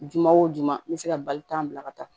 Juma wo duman n bɛ se ka bali ka taa bila ka taa